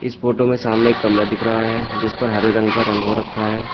इस फोटो में सामने कमरा दिख रहा है जिस पर हरे रंग का रंग हो रखा है।